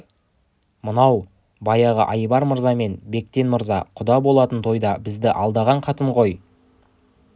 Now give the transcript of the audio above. мынау баяғы айбар мырза мен бектен мырза құда болатын тойда бізді алдаған қатын ғой